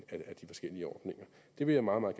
af de forskellige ordninger det vil jeg meget meget